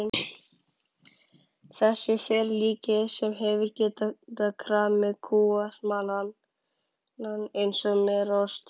Þessi ferlíki sem hefðu getað kramið kúasmalann eins og merarost.